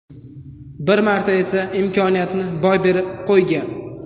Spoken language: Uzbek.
Bir marta esa imkoniyatni boy berib qo‘ygan.